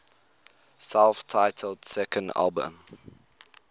self titled second album